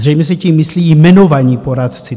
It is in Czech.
Zřejmě se tím myslí jmenovaní poradci.